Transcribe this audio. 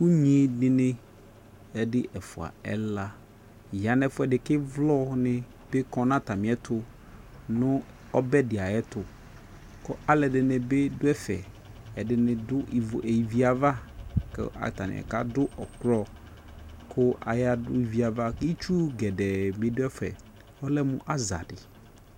Unyidi ni ɛdi ɛfua ɛla ya nʋ ɛfuɛdi kʋ ivlɔ ni bi kɔ nʋ atami ɛtʋ nʋ ɔdɛdi ayʋɛtʋ Kʋ alʋɛdi ni bi dʋ ɛfɛ, ɛdi ni dʋ ivi yɛ ava kʋ atani kadʋ ɔklɔ kʋ ayadʋ ivi yɛ ava Itsu gedee bi dʋ ɛfɛ, ɔlɛ mʋ aza di